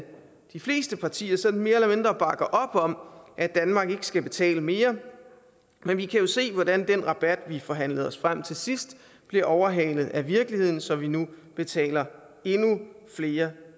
de fleste partier sådan mere eller mindre bakker op om at danmark ikke skal betale mere men vi kan jo se hvordan den rabat vi forhandlede os frem til sidst blev overhalet af virkeligheden så vi nu betaler endnu flere